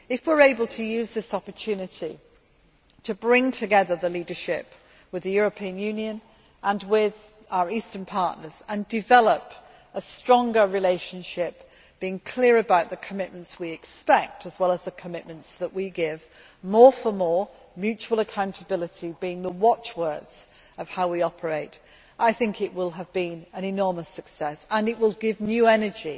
If we are able to use this opportunity to bring together the leadership with the European Union and with our eastern partners, and develop a stronger relationship, being clear about the commitments that we expect as well as the commitments that we give, with more for more' and mutual accountability being the watchwords of how we operate, I think it will have been an enormous success and it will give new energy